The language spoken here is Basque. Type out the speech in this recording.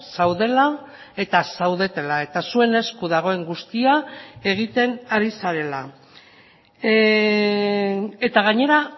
zaudela eta zaudetela eta zuen esku dagoen guztia egiten ari zarela eta gainera